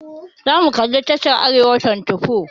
Za mu kalli tashar Arewa24.